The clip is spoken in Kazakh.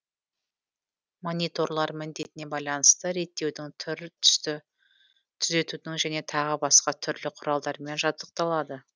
мониторлар міндетіне байланысты реттеудің түр түсті түзетудің және тағы басқа түрлі құралдармен жабдықталады